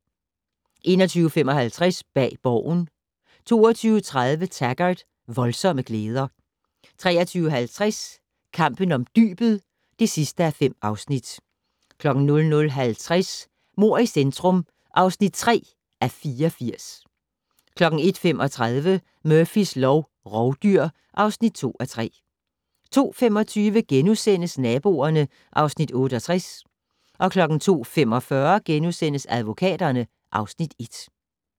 21:55: Bag Borgen 22:30: Taggart: Voldsomme glæder 23:50: Kampen om dybet (5:5) 00:50: Mord i centrum (3:84) 01:35: Murphys lov: Rovdyr (2:3) 02:25: Naboerne (Afs. 68)* 02:45: Advokaterne (Afs. 1)*